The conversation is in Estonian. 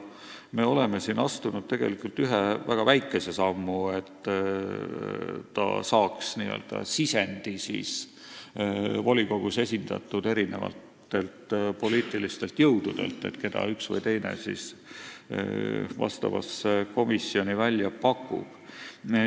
Me oleme siin astunud tegelikult ühe väga väikese sammu, et ta saaks n-ö sisendi volikogus esindatud poliitilistelt jõududelt, keda üks või teine neist komisjoni liikmeks pakub.